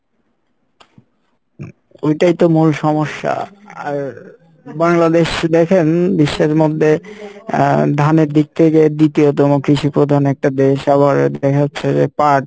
এইটাই তো মূল সমস্যা আর বাংলাদেশ দেখেন বিশ্বের মধ্যে আহ ধানের দিন থেকে দ্বিতীয়তম কৃষি প্রধান একটা দেশ আবার দেখা যাচ্ছে যে পাট,